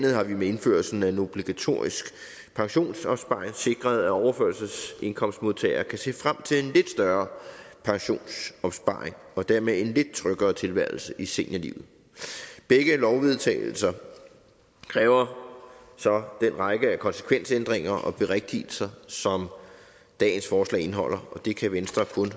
har vi med indførelsen af en obligatorisk pensionsopsparing sikret at overførselsindkomstmodtagere kan se frem til en større pensionsopsparing og dermed en lidt tryggere tilværelse i seniorlivet begge lovvedtagelser kræver så den række af konsekvensændringer og berigtigelser som dagens forslag indeholder og det kan venstre kun